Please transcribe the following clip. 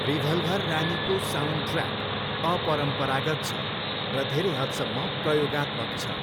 Revolver रानीको soundtrack अपरम्परागत छ र धेरै हदसम्म प्रयोगात्मक छ।